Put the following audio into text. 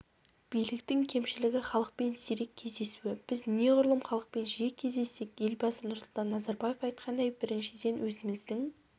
биліктің кемшілігі халықпен сирек кездесуі біз неғұрлым халықпен жиі кездессек елбасы нұрсұлтан назарбаев айтқандай біріншіден өзіміздің